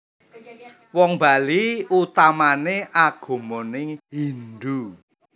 Wong Bali utamané agamané Hindu